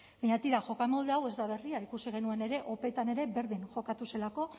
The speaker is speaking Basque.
baina tira jokamolde hau ez da berria ikusi genuen ere opetan ere berdin jokatu zelako